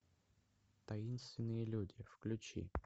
таинственные люди включи